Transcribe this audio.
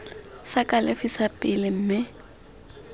sa kalafi sa pele mme